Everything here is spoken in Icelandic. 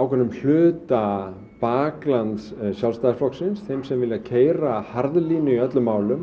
ákveðnum hluta baklands Sjálfstæðisflokksins þeim sem vilja keyra harðlínu í öllum málum